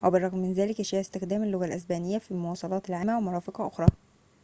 وبالرغم من ذلك يشيع استخدام اللغة الإسبانية في المواصلات العامة ومرافق أخرى